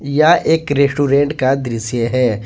यह एक रेस्टोरेंट का दृश्य है ।